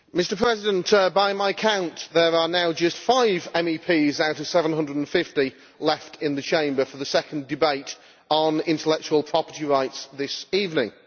Mr President, by my count there are now just five MEPs out of 750 left in the Chamber for the second debate on intellectual property rights this evening.